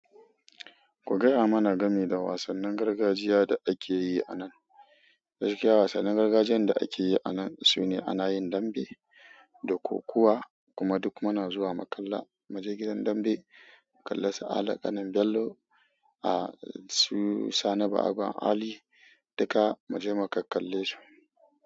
Ku gaya mana game da wasannin gargajiya da ake yi a nan. Gaskiya wasannin gargajiyan da akeyi anan sune anayin dambe da kokuwa kuma duk muna zuwa mu kalla muje gidan dambe mu kalli su ali ƙanin bello. A su sani ba'agon Ali, duka mu je mu kakkalle su.